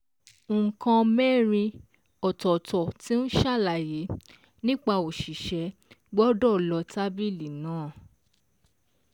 Nǹkan mẹ́rin ọ̀tọ̀ọ̀tọ̀ tí ń ṣàlàyé nípa òṣìṣẹ́ gbọ́dọ̀ lọ tábìlì náà.